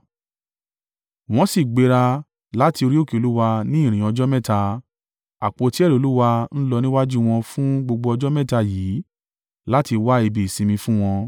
Wọ́n sì gbéra láti orí òkè Olúwa ní ìrìn ọjọ́ mẹ́ta. Àpótí ẹ̀rí Olúwa ń lọ níwájú wọn fún gbogbo ọjọ́ mẹ́ta yìí láti wá ibi ìsinmi fún wọn.